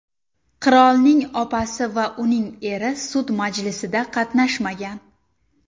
Qirolning opasi va uning eri sud majlisida qatnashmagan.